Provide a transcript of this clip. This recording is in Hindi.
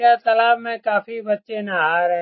यह तलाब में काफी बच्चे नहा रहे।